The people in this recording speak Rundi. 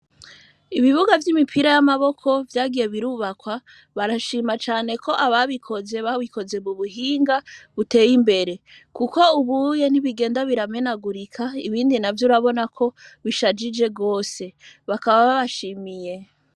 Ibibuga vy'imupira w'amaboko vyagiye birubakwa barashima cane ko ababikoze babikoze mu buhinga buteye imbere kuko ubuye ntigenda biramenegurika ibindi navyo urabona ko bishajije gose bakaba babashimiye.